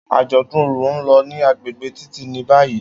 Ajọdun orò n lọ ni agbegbe Titi ni bayi.